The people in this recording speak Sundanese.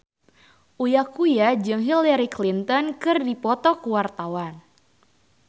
Uya Kuya jeung Hillary Clinton keur dipoto ku wartawan